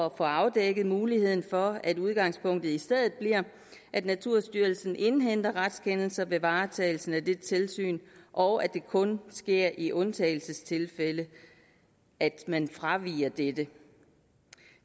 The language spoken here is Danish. at få afdækket muligheden for at udgangspunktet i stedet bliver at naturstyrelsen indhenter retskendelser ved varetagelsen af det tilsyn og at det kun sker i undtagelsestilfælde at man fraviger dette